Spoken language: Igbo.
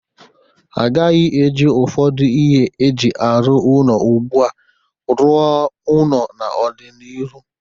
Agaghị eji ụfọdụ ihe e ji arụ ụnọ ugbu a rụọ ụnọ n'ọ dị n'iru.